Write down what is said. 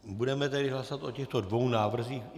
Budeme tedy hlasovat o těchto dvou návrzích.